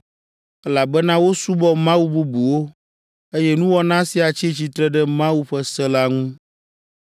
elabena wosubɔ mawu bubuwo, eye nuwɔna sia tsi tsitre ɖe Mawu ƒe se la ŋu.